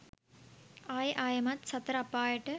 ආයෙ ආයෙමත් සතර අපායට